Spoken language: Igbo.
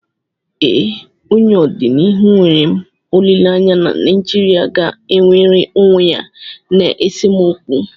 ee, n’ọdịnihu enwere m olileanya na Naijirịa ga-enwere onwe ya n’esemokwu